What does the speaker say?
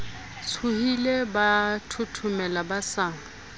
tshohile ba thothomela ba sa